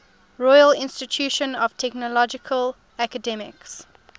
royal institute of technology academics